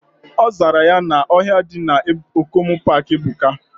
Ozara ya na ohia di na Okomu park ebuka.